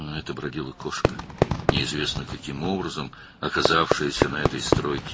Bu, hansısa naməlum yolla bu tikintidə peyda olmuş bir pişik idi.